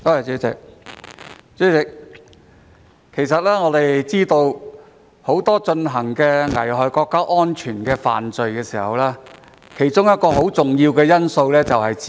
主席，我們都知道，很多危害國家安全的犯法行為有一個很重要的因素，便是資金。